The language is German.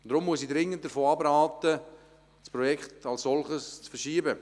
Deshalb muss ich dringend davon abraten, das Projekt zu verschieben.